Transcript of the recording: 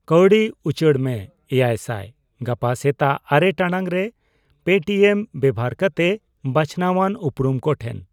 ᱠᱟᱣᱰᱤ ᱩᱪᱟᱹᱲ ᱢᱮ ᱮᱭᱟᱭᱥᱟᱭ ᱜᱟᱯᱟ ᱥᱮᱛᱟᱜ ᱟᱨᱮ ᱴᱟᱲᱟᱝ ᱨᱮ ᱯᱮᱴᱤᱮᱢ ᱵᱮᱵᱷᱟᱨ ᱠᱟᱛᱮ ᱵᱟᱪᱷᱱᱟᱣᱟᱱ ᱩᱯᱩᱨᱩᱢ ᱠᱚᱴᱷᱮᱱ ᱾